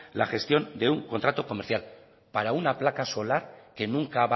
la gestión de un contrato comercial para una placa solar que nunca